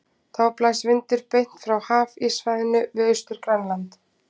Þá blæs vindur beint frá hafíssvæðinu við Austur-Grænland.